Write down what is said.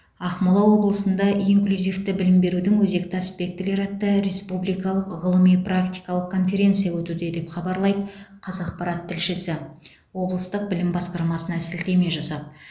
ақмола облысында инклюзивті білім берудің өзекті аспектілері атты республикалық ғылыми практикалық конференция өтуде деп хабарлайды қазақпарат тілшісі облыстық білім басқармасына сілтеме жасап